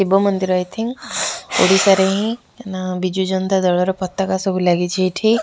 ଶିବ ମନ୍ଦିର I think Odisha ରେ ହିଁ ବିଜୁ ଜନତାଦଳର ପତକା ସବୁ ଲାଗିଛି ଏଇଠି।